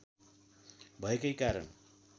भएकै कारण